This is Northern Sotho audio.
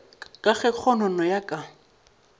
ka ge kgonono ya ka